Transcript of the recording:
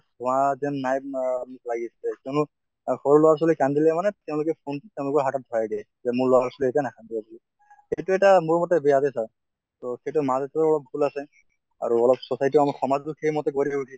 হোৱা যেন নাই অহ লাগিছে কিয়্নো আ সৰু লʼৰা ছোৱালী কান্দিলে মানে তেওঁলোকে phone টো তেওঁলোকৰ হাতত ধৰাই দিয়া যে মোৰ লʼৰা ছোৱালী এতিয়া নাকান্দিব বুলি। সেইটো তো এটা মোৰ মতে বেয়া দে sir | তʼ সেইটো মা দেউতাৰো অলপ ভুল আছে। আৰু অলপ society সমাজবোৰ সেই মতে গঢ়ি ওঠিছে